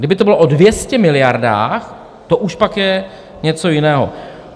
Kdyby to bylo o 200 miliardách, to už pak je něco jiného.